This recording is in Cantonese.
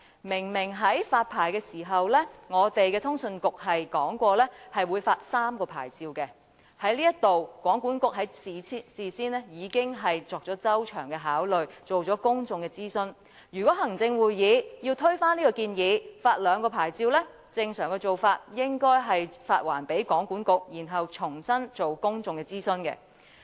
明明在發牌時，通訊事務管理局表示會發出3個牌照，通訊局事先已作出周詳的考慮，進行了公眾諮詢，如果行會要推翻這項建議，想改為發出兩個牌照，正常做法應該是將建議發還予通訊局，然後重新進行公眾諮詢。